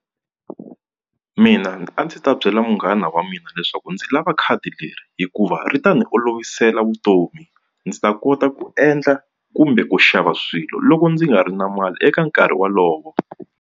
Mina a ndzi ta byela munghana wa mina leswaku ndzi lava khadi leri hikuva ri ta ni olovisela vutomi ndzi ta kota ku endla kumbe ku xava swilo loko ndzi nga ri na mali eka nkarhi wolowo.